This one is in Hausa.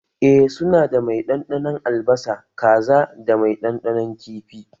Eh su na da mai ɗanɗanon albasa, kaza da mai ɗanɗanon kifi